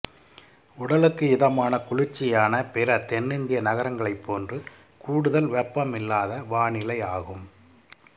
உடலுக்கு இதமான குளிர்ச்சியான பிற தென்னிந்திய நகரங்களைப் போன்று கூடுதல் வெப்பமில்லாத வானிலையாகும்